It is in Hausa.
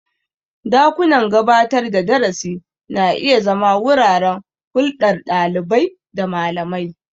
Dakunan gabatar da darasi na iya zama wuraren hulɗar ɗalibai da malamai.